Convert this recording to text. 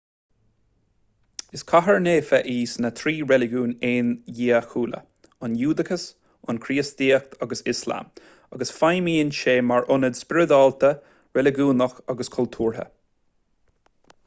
is cathair naofa í i sna trí reiligiún aondiachúla an giúdachas an chríostaíocht agus ioslam agus feidhmíonn sí mar ionad spioradálta reiligiúnach agus cultúrtha